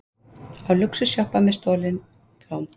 Á lúxusjeppa með stolin blóm